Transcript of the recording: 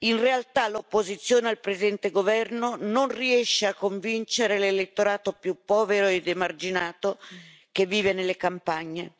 In realtà, l'opposizione al presente governo non riesce a convincere l'elettorato più povero ed emarginato che vive nelle campagne.